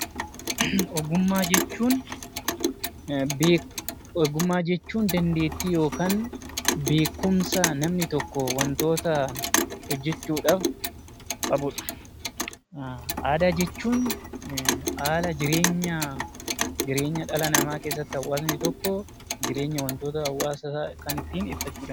Ogummaa jechuun beekumsa yookaan dandeettii namni tokko wantoota hojjachuudhaaf qabudha. Aadaa jechuun haala jireenya dhala namaa keessatti hawaasni tokko jireenya hawaasa isaa kan ittiin ibsatudha